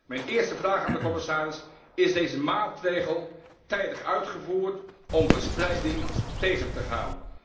Mijn eerste vraag aan de commissaris Is deze maatregel tijdig uitgevoerd, om verspreiding tegen te gaan?